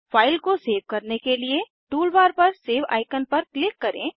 file को save करने के लिए टूल बार पर सेव आईकन पर क्लिक करें